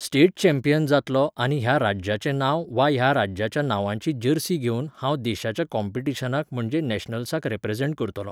state champion जातलों आनी ह्या राज्याचें नांव वा ह्या राज्याच्या नांवाची जर्सी घेवन हांव देशाच्या कोंपिटिशनाक म्हणजे नेशनल्साक रिप्रेसेंट करतलों